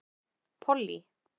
Pollý